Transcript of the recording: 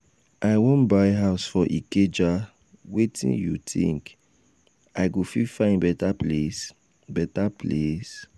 i wan buy house for ikeja wetin you think? i go fit find beta place? beta place?